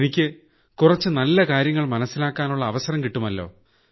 എനിക്ക് കുറച്ചു നല്ല കാര്യങ്ങൾ മനസ്സിലാക്കാനുള്ള അവസരം കിട്ടുമല്ലോ